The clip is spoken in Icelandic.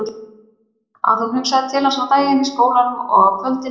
Að hún hugsaði til hans á daginn í skólanum og á kvöldin í rúminu.